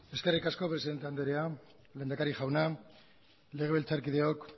eskerrik asko presidente anderea lehendakari jauna legebiltzarkideok